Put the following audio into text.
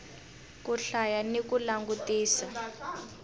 ku hlaya ni ku langutisa